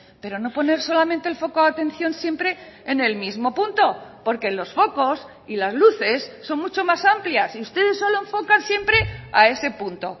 pero no poner solamente el foco de atención siempre en el mismo punto porque los focos y las luces son mucho más amplias y ustedes solo enfocan siempre a ese punto